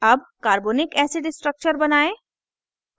अब carbonic acid structure बनायें